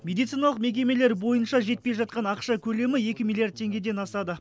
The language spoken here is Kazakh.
медициналық мекемелер бойынша жетпей жатқан ақша көлемі екі миллиард теңгеден асады